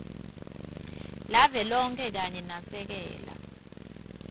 lavelonkhe kanye nasekela